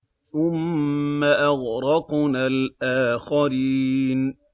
ثُمَّ أَغْرَقْنَا الْآخَرِينَ